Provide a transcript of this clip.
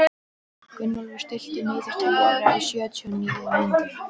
Gunnólfur, stilltu niðurteljara á sjötíu og níu mínútur.